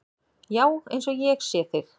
Já, eins og ég sé þig.